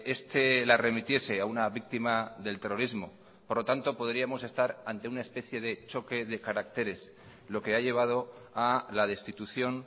este la remitiese a una víctima del terrorismo por lo tanto podríamos estar ante una especie de choque de caracteres lo que ha llevado a la destitución